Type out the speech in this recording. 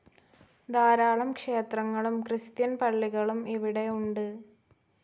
ധാരാളം ക്ഷേത്രങ്ങളും, ക്രിസ്ത്യൻ പളളികളും ഇവിടെ ഉണ്ട്.